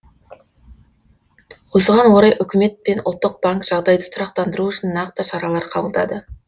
осыған орай үкімет пен ұлттық банк жағдайды тұрақтандыру үшін нақты шаралар қабылдады